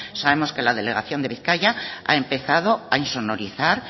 sabemos que la delegación de bizkaia ha empezado a insonorizar